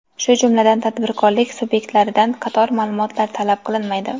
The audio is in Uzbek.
shu jumladan tadbirkorlik sub’ektlaridan qator ma’lumotlar talab qilinmaydi.